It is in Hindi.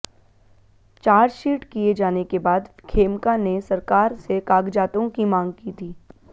चार्जशीट किए जाने के बाद खेमका ने सरकार से कागजातों की मांग की थी